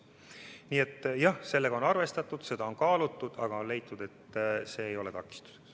Nii et jah, sellega on arvestatud, seda on kaalutud, aga on leitud, et see ei ole takistuseks.